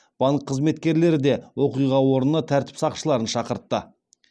банк қызметкерлері де оқиға орнына тәртіп сақшыларын шақыртты